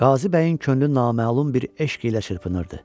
Qazı bəyin könlü naməlum bir eşq ilə çırpınırdı.